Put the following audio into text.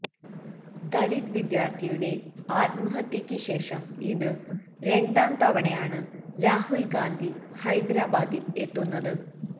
ദളിത് വിദ്യാർത്ഥിയുടെ ആത്മഹത്യയ്ക്ക് ശേഷം ഇത് രണ്ടാം തവണയാണ് രാഹൽ ഗാന്ധി ഹൈദരാബാദിൽ എത്തുന്നത്